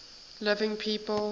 living people